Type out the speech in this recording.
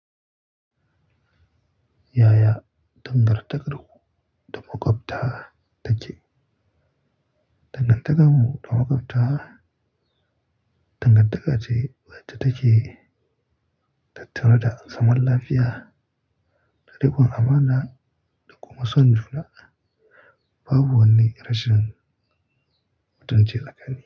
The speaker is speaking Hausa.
Yaya, dangantakar ku ta makwabta take. Dangantakar mu ta makwabta, dangantaka ce wacce take tattare da zaman lafiya da rukon amana da kuma son juna, babu wani rashin mutunci tsakani.